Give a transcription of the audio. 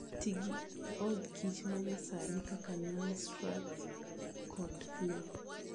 Ti gi od kich ma nyasani kaka Langstroth kata Flow.